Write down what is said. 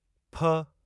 फ